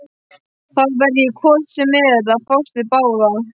Þá verð ég hvort sem er að fást við báða.